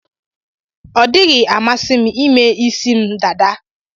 Ọ dịghị amasị m ime isi m dada.